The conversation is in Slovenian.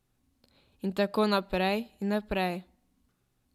In tako naprej in naprej.